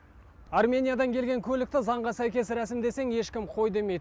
армениядан келген көлікті заңға сәйкес рәсімдесең ешкім қой демейді